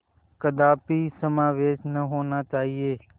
कदापि समावेश न होना चाहिए